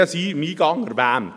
Ich habe es eingangs erwähnt: